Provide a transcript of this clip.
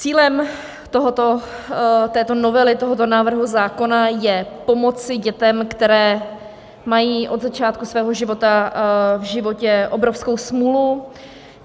Cílem této novely, tohoto návrhu zákona je pomoci dětem, které mají od začátku svého života v životě obrovskou smůlu.